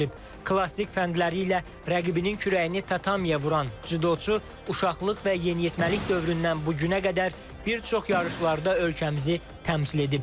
Klassik fəndləri ilə rəqibinin kürəyini tatamiyə vuran cüdoçu uşaqlıq və yeniyetməlik dövründən bu günə qədər bir çox yarışlarda ölkəmizi təmsil edib.